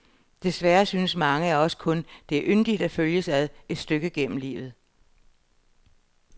Desværre synes mange af os kun, det er yndigt at følges ad et stykke gennem livet.